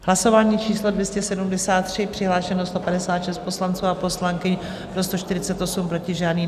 Hlasování číslo 273, přihlášeno 156 poslanců a poslankyň, pro 148, proti žádný.